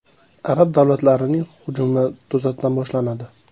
Arab davlatlarining hujumi to‘satdan boshlanadi.